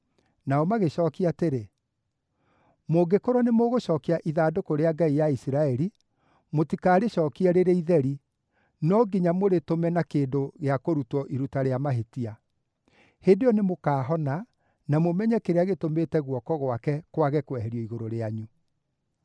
Nao magĩcookia atĩrĩ, “Mũngĩkorwo nĩ mũgũcookia ithandũkũ rĩa ngai ya Isiraeli, mũtikarĩcookie rĩrĩ itheri, no nginya mũrĩtũme na kĩndũ gĩa kũrutwo iruta rĩa mahĩtia. Hĩndĩ ĩyo nĩmũkaahona, na mũmenye kĩrĩa gĩtũmĩte guoko gwake kwage kweherio igũrũ rĩanyu.”